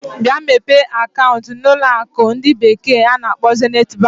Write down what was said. Bịa mepee akaụntụ na na ụlọ akụ ndi bekee na-akpo Zenit Bank.